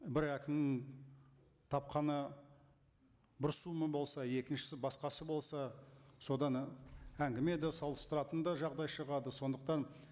бір әкім тапқаны бір сома болса екіншісі басқасы болса содан і әңгіме де салыстыратын да жағдай шығады сондықтан